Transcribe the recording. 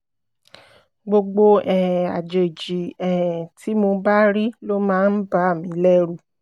gbogbo um àjèjì um tí mo bá rí ló máa ń bà mí lẹ́rù